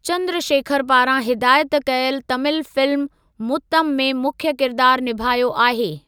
चंद्रशेखर पारां हिदायत कयल तमिल फिल्म मुत्तम में मुख्य किरदारु निभायो आहे।